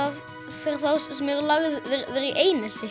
fyrir þá sem eru lagðir í einelti